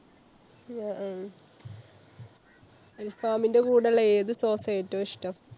അഹ് അൽഫാമിന്‍ടെ കൂടെള്ള ഏതു sauce ആ ഏറ്റും ഇഷ്ടം?